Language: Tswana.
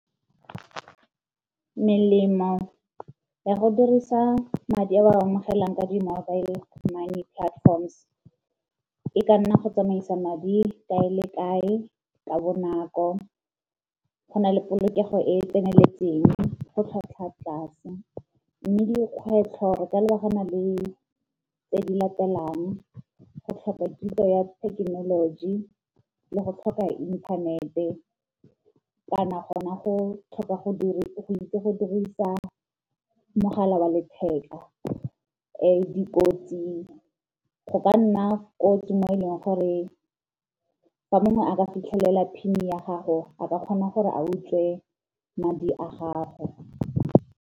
Melemo ya go dirisa madi a ba a amogelang ka di-mobile money platforms e ka nna go tsamaisa madi kae le kae ka bonako, go na le polokego e e tseneletseng, go tlhwatlhwa tlase. Mme dikgwetlho tsa lebagana le tse di latelang go tlhoka kitso ya thekenoloji, le go tlhoka inthanete, kana gona go tlhoka go itse go dirisa mogala wa letheka. Dikotsi, go ka nna kotsi mo e leng gore fa mongwe a ka fitlhelela PIN ya gago a ka kgona gore a utswe madi a gago.